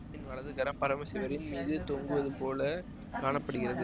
வலது கரம் பரமசிவரின் மீது தொங்குவது போல காண படுகிறது